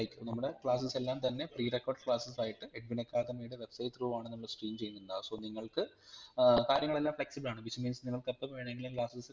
like നമ്മടെ classes എല്ലാം തന്നെ pre recorded classes ആയിട്ട് എഡ്വിൻ അക്കാദമിയുടെ website through ആണ് നമ്മൾ stream ചെയ്യുണ്ടാവാ so നിങ്ങൾക് ഏർ കാര്യങ്ങളെല്ലാം flexible ആണ് which means നിങ്ങൾകെപ്പം വേണങ്കിലും classes